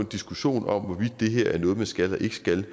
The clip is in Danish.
diskussion om hvorvidt det her er noget de skal eller ikke skal